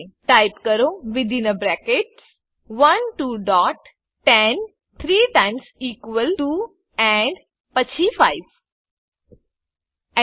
type કરો within brackets 1 two dots 10 three times equal to and પછી 5 Enter